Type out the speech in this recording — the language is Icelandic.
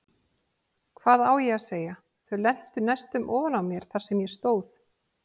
Hvað á ég að segja, þau lentu næstum ofan á mér þar sem ég stóð.